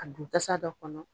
A don tasa dɔ kɔnɔ